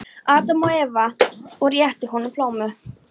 Adam og Evu og rétti honum plómu.